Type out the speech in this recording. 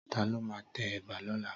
Tàló mà tè èbà lòlá?